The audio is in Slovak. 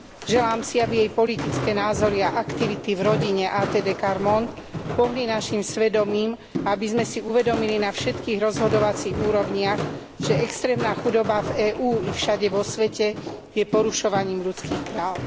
Želám si, aby jej politické názory a aktivity v rodine ATD Quart Monde pohli našim svedomím a aby sme si uvedomili na všetkých rozhodovacích úrovniach, že extrémna chudoba v EÚ i všade vo svete je porušovaním ľudských práv.